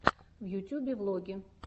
в ютьюбе влоги